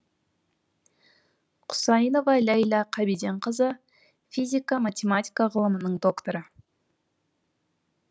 құсайынова ләйла қабиденқызы физика математика ғылымының докторы